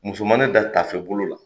Musomanin da tafe bolo la.